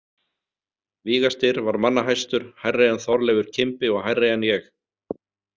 Víga- Styrr var manna hæstur, hærri en Þorleifur kimbi og hærri en ég.